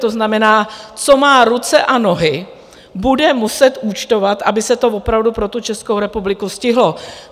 To znamená, co má ruce a nohy, bude muset účtovat, aby se to opravdu pro tu Českou republiku stihlo.